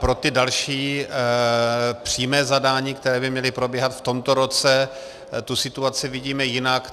Pro ty další, přímé zadání, které by měly probíhat v tomto roce, tu situaci vidíme jinak.